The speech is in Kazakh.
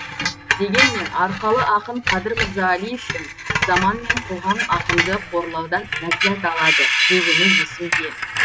дегенмен арқалы ақын қадыр мырзалиевтің заман мен қоғам ақынды қорлаудан ләззат алады дегені есімде